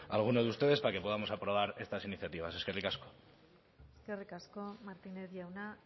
a algunos de ustedes para que podamos aprobar estas iniciativas eskerrik asko eskerrik asko martínez jauna